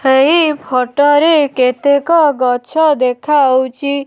ଏହି ଫୋଟ ରେ କେତେକ ଗଛ ଦେଖାଯାଉଛି।